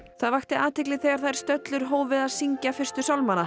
það vakti athygli þegar þær stöllur hófu að syngja fyrstu